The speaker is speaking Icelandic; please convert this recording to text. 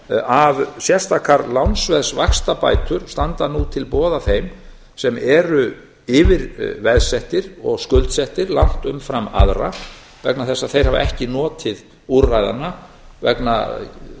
að sérstakar lánsveðsvaxtabætur standa nú til boða þeim sem eru yfirveðsettir og skuldsettir langt umfram aðra vegna þess að þeir hafa ekki notið úrræðanna vegna